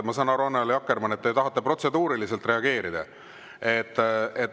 Ma saan aru, Annely Akkermann, et te tahate protseduuriliselt reageerida.